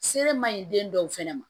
Se ma ɲi den dɔw fɛnɛ ma